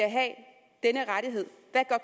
at